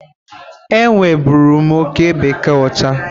Enwe bụrụ m oke bekee ọcha.